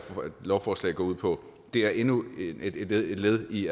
lovforslag går ud på det er endnu et et led i